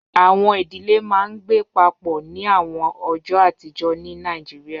Awọn idile maa n gbe papọ ni awọn ọjọ atijọ ni Nigeria